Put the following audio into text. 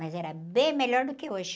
Mas era bem melhor do que hoje.